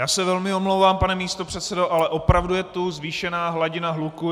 Já se velmi omlouvám, pane místopředsedo, ale opravdu je tu zvýšená hladina hluku.